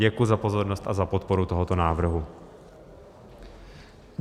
Děkuji za pozornost a za podporu tohoto návrhu.